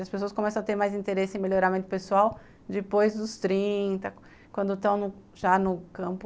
As pessoas começam a ter mais interesse em melhoramento pessoal depois dos trinta, quando estão já no campo,